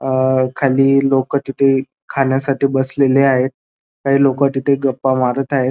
अ खाली लोक तिथे खाण्यासाठी बसलेले आहेत काही लोक तिथे गप्पा मारत आहेत.